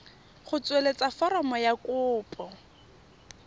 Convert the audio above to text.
go tsweletsa foromo ya kopo